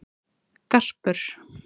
Garpur